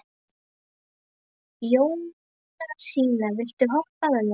Jónasína, viltu hoppa með mér?